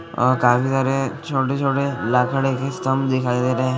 काफी सारे छोटे -छोटे लाकड़े के स्तंभ दिखाई दे रहे हैं।